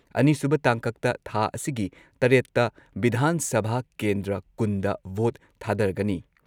ꯑꯅꯤꯁꯨꯨꯕ ꯇꯥꯡꯀꯛꯇ ꯊꯥ ꯑꯁꯤꯒꯤ ꯇꯔꯦꯠꯇ ꯚꯤꯙꯥꯟ ꯁꯚꯥ ꯀꯦꯟꯗ꯭ꯔ ꯀꯨꯟꯗ ꯚꯣꯠ ꯊꯥꯗꯔꯒꯅꯤ ꯫